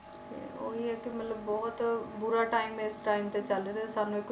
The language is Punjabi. ਤੇ ਉਹੀ ਹੈ ਕਿ ਮਤਲਬ ਬਹੁਤ ਬੁਰਾ time ਇਸ time ਤੇ ਚੱਲ ਰਿਹਾ, ਸਾਨੂੰ ਇੱਕ,